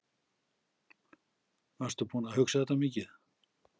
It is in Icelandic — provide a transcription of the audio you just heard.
Varstu búinn að hugsa þetta mikið?